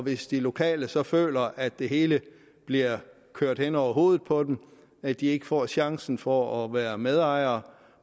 hvis de lokale så føler at det hele bliver kørt hen over hovedet på dem at de ikke får chancen for at være medejere